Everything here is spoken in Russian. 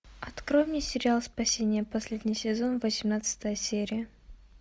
открой мне сериал спасение последний сезон восемнадцатая серия